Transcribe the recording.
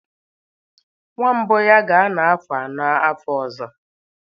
Her first son will turn four next year